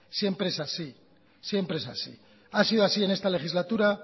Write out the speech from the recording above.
siempre es así siempre es así ha sido así en esta legislatura